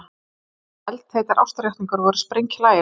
Meira að segja eldheitar ástarjátningar voru sprenghlægilegar.